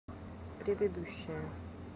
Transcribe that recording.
предыдущая